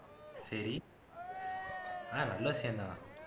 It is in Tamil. சரி ஆஹ் நல்ல விசயம் தான்